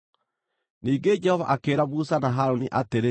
Ningĩ Jehova akĩĩra Musa na Harũni atĩrĩ,